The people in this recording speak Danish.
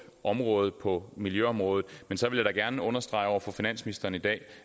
område på miljøområdet men så vil jeg da gerne understrege over for finansministeren i dag